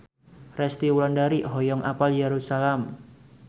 Resty Wulandari hoyong apal Yerusalam